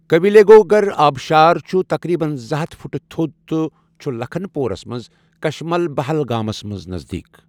کویلیگھوگر آبشار چھُ تقریباً زٕ ہتھ فٹہٕ تھوٚد تہٕ چھُ لکھن پورَس منٛز، کُشمَلبَہل گامَس نزدیٖک۔